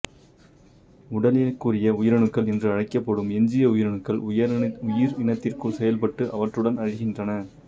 உடலியலுக்குரிய உயிரணுக்கள் என்று அழைக்கப்படும் எஞ்சிய உயிரணுக்கள் உயிரினத்திற்குள் செயல்பட்டு அவற்றுடன் அழிகின்றன